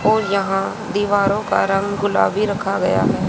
और यहां दीवारों का रंग गुलाबी रखा गया है।